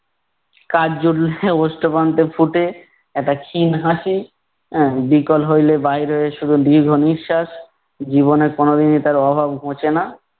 কাজ জুটলে ওষ্ঠপ্রান্তে ফুটে একটা ক্ষীণ হাসি, আহ বিকল হইলে বাইর হয় শুধু দীর্ঘনিঃশ্বাস, জীবনে কোনদিনই তার অভাব ঘোঁচে না।